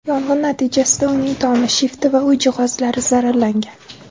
Yong‘in natijasida uyning tomi, shifti va uy jihozlari zararlangan.